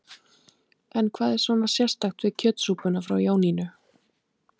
En hvað er svona sérstakt við kjötsúpuna frá Jónínu?